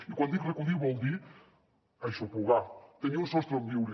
i quan dic recollir vol dir aixoplugar tenir un sostre on viure